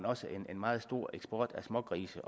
også en meget stor eksport af smågrise